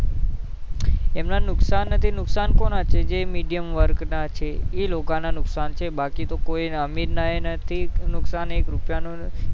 અમને નુકસાન નહીં નુકસાન તો કોણ છે જે medium વર્ગ ના છે એ લોકો ન નુકસાન છે બાકી તો કોઈ અમીર ને નથી એક રૂપિયા નું